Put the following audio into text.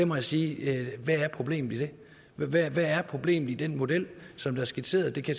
må jeg sige hvad er problemet i det hvad er problemet i den model som er skitseret jeg kan